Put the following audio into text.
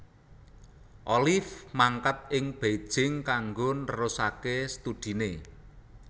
Oliv mangkat ing Beijing kanggo nerusaké studiné